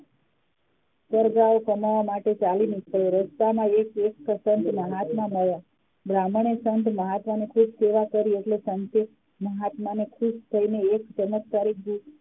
ઘર બહાર કમાવા માટે ચાલી નીકળ્યો. રસ્તા માં એક સત્સંગ મહાત્મા મડ્યા. બ્રહ્મને સંત મહાત્મા ની ખુબ સેવા કરી એટલે સંત મહાત્મા એ ખુશ થઇ એક ચમત્કારીક